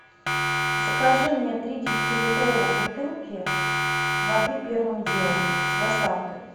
закажи мне три девятилитровых бутылки воды первым делом с доставкой